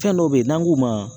Fɛn dɔ be yen n'an k'u ma